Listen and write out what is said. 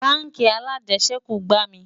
bánkì alàjesèkú gbà mí